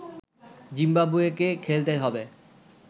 জিম্বাবুয়েকে খেলতে হবে